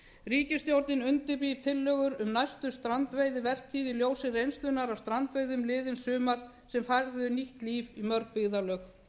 ríkisstjórnin undirbýr tillögur um næstu strandveiðivertíð í ljósi reynslunnar af strandveiðum liðins sumar sem færðu nýtt líf í mörg byggðarlög